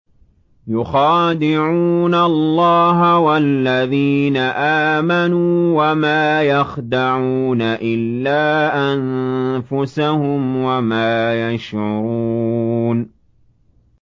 يُخَادِعُونَ اللَّهَ وَالَّذِينَ آمَنُوا وَمَا يَخْدَعُونَ إِلَّا أَنفُسَهُمْ وَمَا يَشْعُرُونَ